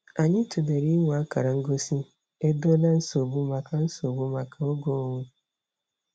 Anyị tụlere inwe akara ngosi "Edola nsogbu" maka nsogbu" maka oge onwe.